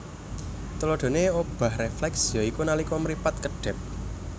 Tuladahané obah rèflèks ya iku nalika mripat kedhèp